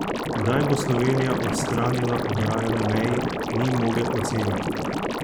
Kdaj bo Slovenija odstranila ograjo na meji, ni mogel oceniti.